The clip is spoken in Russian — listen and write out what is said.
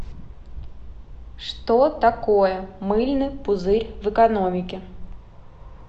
что такое мыльный пузырь в экономике